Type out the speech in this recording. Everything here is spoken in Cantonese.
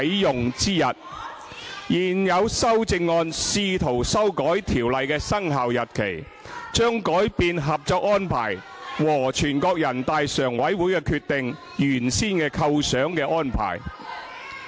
現有修正案試圖修改條例的生效日期，將改變《合作安排》和全國人大常委會的《決定》原先構想的安排。